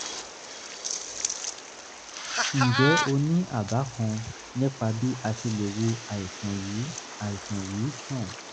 ǹjẹ́ o ní àbá kan nípa bí a ṣe lè wo àìsàn yìí àìsàn yìí sàn?